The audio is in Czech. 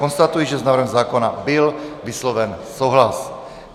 Konstatuji, že s návrhem zákona byl vysloven souhlas.